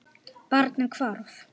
Barnið hvarf.